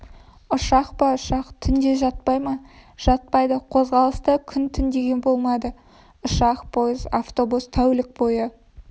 ұшақ па ұшақ түнде жатпай ма жатпайды қозғалыста күн-түн деген болмайды ұшақ пойыз автобус тәулік бойы